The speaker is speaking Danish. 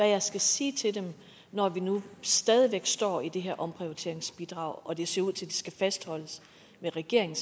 jeg skal sige til dem når vi nu stadig væk står med det her omprioriteringsbidrag og det ser ud til at det skal fastholdes med regeringen